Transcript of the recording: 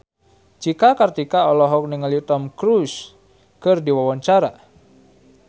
Cika Kartika olohok ningali Tom Cruise keur diwawancara